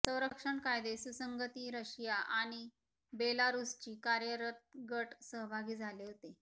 संरक्षण कायदे सुसंगती रशिया आणि बेलारुसची कार्यरत गट सहभागी झाले होते